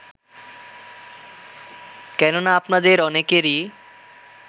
কেননা আপনাদের অনেকেরই